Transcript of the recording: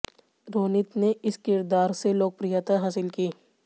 रोनित ने इस किरदार से लोकप्रियता हासिल की